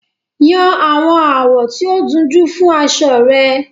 Yan àwọn àwọ̀ tí ó dunjú fún aṣọ rẹ